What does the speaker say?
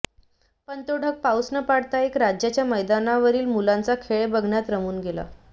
पण तो ढग पाऊस न पाडता एका राज्याच्या मैदानावरील मुलांचा खेळ बघण्यात रमून गेला